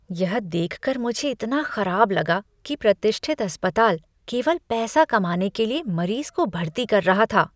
यह देख कर मुझे इतना खराब लगा कि प्रतिष्ठित अस्पताल केवल पैसा कमाने के लिए मरीज को भर्ती कर रहा था।